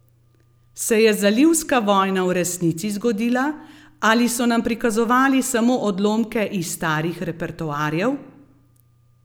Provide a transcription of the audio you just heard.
Se je zalivska vojna v resnici zgodila ali so nam prikazovali samo odlomke iz starih repertoarjev?